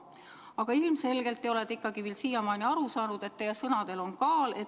Aga ilmselgelt ei ole te siiamaani aru saanud, et teie sõnadel on kaal.